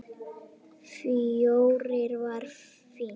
Fjórir var fínt.